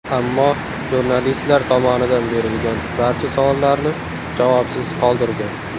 Ammo jurnalistlar tomonidan berilgan barcha savollarni javobsiz qoldirgan.